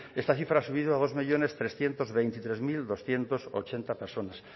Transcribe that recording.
esta cifra ha subido a dos millónes trescientos veintitrés mil doscientos ochenta personas